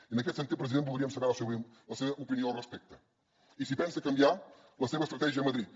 i en aquest sentit president voldríem saber la seva opinió al respecte i si pensa canviar la seva estratègia a madrid